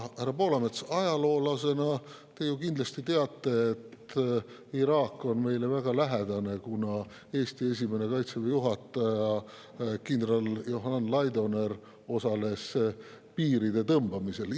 Härra Poolamets, ajaloolasena te ju kindlasti teate, et Iraak on meile väga lähedane, kuna Eesti esimene Kaitseväe juhataja kindral Johan Laidoner osales piiride tõmbamisel.